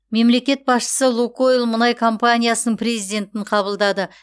мемлекет басшысы лукойл мұнай компаниясының президентін қабылдады